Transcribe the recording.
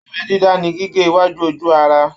Abẹ dídá ní gígé iwájú ojú ara.